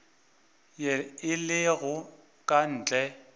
ye e lego ka ntle